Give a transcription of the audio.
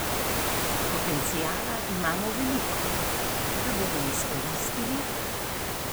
Potenciala imamo veliko, ga bomo izkoristili?